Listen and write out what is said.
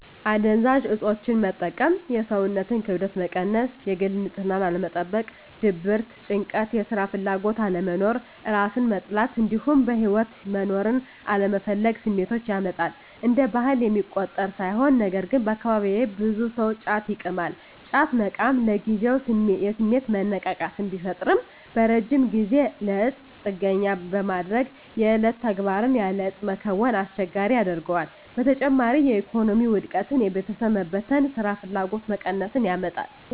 አደንዛዥ እፆችን መጠቀም የሰውነትን ክብደት መቀየር፣ የግል ንፅህናን አለመጠበቅ፣ ድብርት፣ ጭንቀት፣ የስራ ፍላጎት አለመኖር፣ እራስን መጥላት እንዲሁም በህይወት መኖርን አለመፈለግ ስሜቶችን ያመጣል። እንደ ባህል የሚቆጠር ሳይሆን ነገርግን አካባቢየ ብዙ ሰው ጫት ይቅማል። ጫት መቃም ለጊዜው የስሜት መነቃቃት ቢፈጥርም በረጅም ጊዜ ለእፁ ጥገኛ በማድረግ የዕለት ተግባርን ያለ እፁ መከወንን አስቸጋሪ ያደርገዋል። በተጨማሪም የኢኮኖሚ ውድቀትን፣ የቤተሰብ መበተን፣ ስራፍላጎት መቀነስን ያመጣል።